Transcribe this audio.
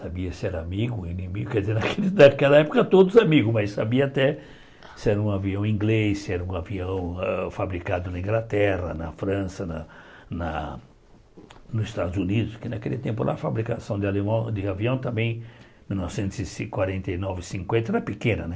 Sabia se era amigo, inimigo, quer dizer, naquela época todos amigos, mas sabia até se era um avião inglês, se era um avião hã fabricado na Inglaterra, na França, na na nos Estados Unidos, que naquele tempo lá a fabricação de alemão de avião também, em mil novecentos e ci quarenta e nove, cinquenta, era pequena, né?